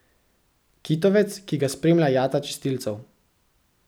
Kitovec, ki ga spremlja jata čistilcev!